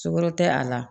Sukoro tɛ a la